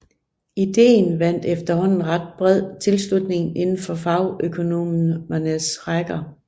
Ideen vandt efterhånden ret bred tilslutning indenfor fagøkonomernes rækker